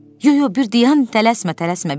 Yox, yox, bir dayan, tələsmə, tələsmə.